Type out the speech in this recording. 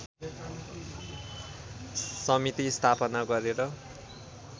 समिति स्थापना गरेर